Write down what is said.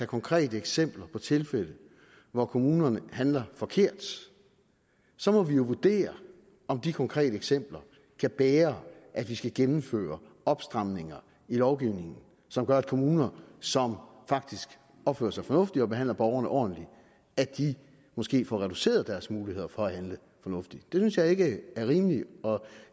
konkrete eksempler på tilfælde hvor kommunerne handler forkert så må vi jo vurdere om de konkrete eksempler kan bære at vi skal gennemføre opstramninger i lovgivningen som gør at kommuner som faktisk opfører sig fornuftigt og behandler borgerne ordentligt måske får reduceret deres muligheder for at handle fornuftigt det synes jeg ikke er rimeligt og